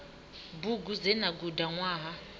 bugu dze na guda ṅwaha